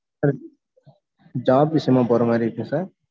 job விசயமா போறமாரி இருக்கேன் sir